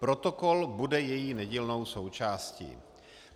Protokol bude její nedílnou součástí.